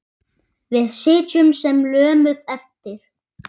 Við sitjum sem lömuð eftir.